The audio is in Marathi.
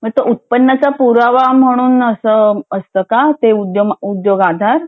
म तो उतपन्नाचा पुरावा म्हणून असा असता का ते उद्यम अशा अ उद्योग आधार